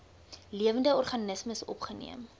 lewende organismes opgeneem